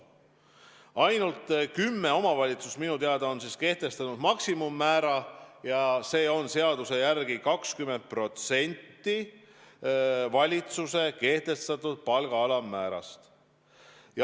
Ainult kümme omavalitsust on minu teada kehtestanud kohatasuks maksimummäära ja see on seaduse järgi 20% valitsuse kehtestatud palga alammäärast.